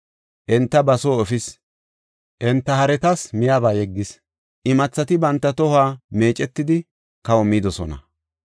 Enta ba soo efis; enta haretas miyaba yeggis. Imathati banta tohuwa meecetidi kaho midosona.